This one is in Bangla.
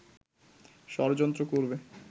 ষড়যন্ত্র করবে